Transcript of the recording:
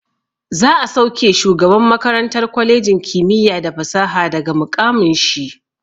Za'a sauke shugaban makarantar kwalejin kimiyya da fasaha daga muƙamin shi.